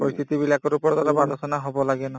পৰিস্থিতিবিলাকৰ ওপৰত অলপ আলোচনা হব লাগে ন